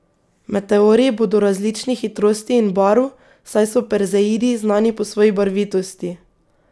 Meteorji bodo različnih hitrosti in barv, saj so perzeidi znani po svoji barvitosti.